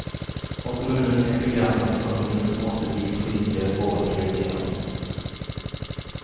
Har kommunen en begränsad ekonomi så måste vi politiker våga prioritera.